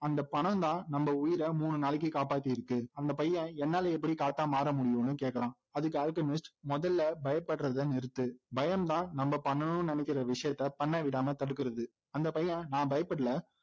அந்த பணம்தான் நம்ம உயிரை மூணு நாளைக்கு காப்பாத்தி இருக்கு அந்த பையன் என்னால எப்படி காத்தா மாறமுடியும்னு கேட்கிறான் அதுக்கு அல்கெமிஸ்ட் முதல்ல பயப்படுறதை நிறுத்து பயம்தான் நம்ம பண்ணணும்னு நினைக்கிற விஷயத்தை பண்ண விடாம தடுக்கிறது அந்த பையன் நான் பயப்படலை